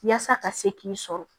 Yaasa ka se k'i sɔrɔ